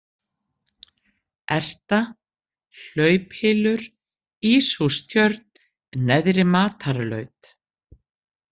Erta, Hlauphylur, Íshústjörn, Neðri-Matarlaut